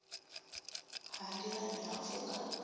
ha nḓilani ha u pfuka